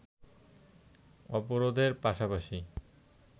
অবরোধের পাশাপাশি